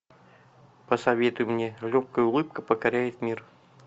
посоветуй мне легкая улыбка покоряет мир